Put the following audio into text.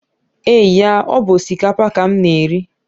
Eee ya, ọ bu osikapa ka m na-eri